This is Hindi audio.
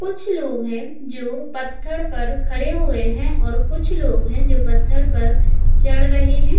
कुछ लोग हैं जो पत्थर पर खड़े हुए हैं और कुछ लोग हैं जो पत्थर पर चढ़ रहे हैं